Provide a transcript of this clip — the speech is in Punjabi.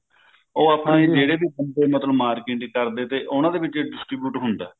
ਉਹ ਆਪਣੀ ਜਿਹੜੇ ਵੀ ਬੰਦੇ ਮਤਲਬ market ਨਹੀਂ ਕਰਦੇ ਤੇ ਉਹਨਾਂ ਦੇ ਵਿੱਚ distribute ਹੁੰਦਾ